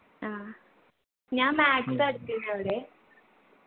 ആ ഞാൻ maths ആ എടുത്തിരുന്നെ അവരെ